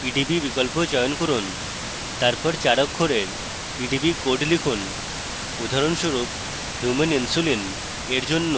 pdb বিকল্প চয়ন করুন তারপর 4 অক্ষরের pdb code লিখুন উদাহরণস্বরুপ human insulin এর জন্য